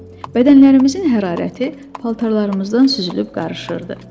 Bədənlərimizin hərarəti paltarlarımızdan süzülüb qarışırdı.